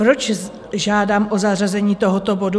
Proč žádám o zařazení tohoto bodu?